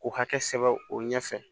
K'u hakɛ sɛbɛ o ɲɛfɛ